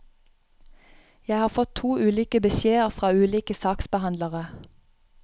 Jeg har fått to ulike beskjeder fra ulike saksbehandlere.